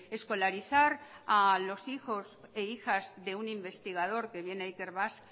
escolarizar a los hijos e hijas de un investigador que viene a ikerbasque